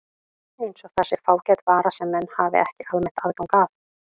Eins og það sé fágæt vara sem menn hafi ekki almennt aðgang að.